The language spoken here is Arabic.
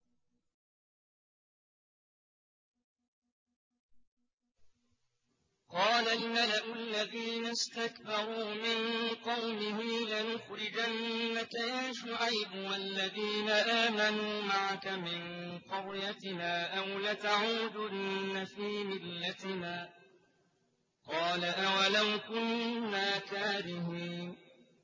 ۞ قَالَ الْمَلَأُ الَّذِينَ اسْتَكْبَرُوا مِن قَوْمِهِ لَنُخْرِجَنَّكَ يَا شُعَيْبُ وَالَّذِينَ آمَنُوا مَعَكَ مِن قَرْيَتِنَا أَوْ لَتَعُودُنَّ فِي مِلَّتِنَا ۚ قَالَ أَوَلَوْ كُنَّا كَارِهِينَ